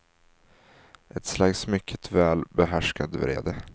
Ett slags mycket väl behärskad vrede.